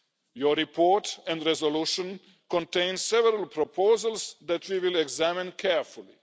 point. Your report and resolution contains several proposals that we will examine carefully.